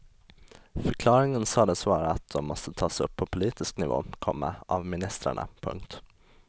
Förklaringen sades vara att de måste tas upp på politisk nivå, komma av ministrarna. punkt